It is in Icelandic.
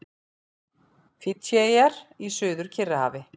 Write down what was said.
Fídjieyjar í Suður-Kyrrahafi.